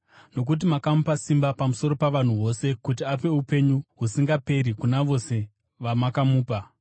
Nokuti makamupa simba pamusoro pavanhu vose kuti ape upenyu husingaperi kuna vose vamakamupa.